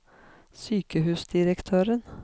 sykehusdirektøren